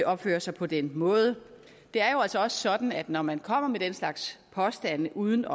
opfører sig på den måde det er jo altså sådan at når man kommer med den slags påstande uden